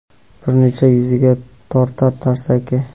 bir necha yuziga tortar tarsaki.